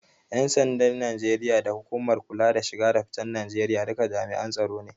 Ƴan sandan Najeriya da hukumar kula da shige da ficen Najeriya duka jami'an tsaro ne.